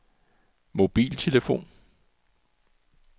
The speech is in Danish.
mobiltelefon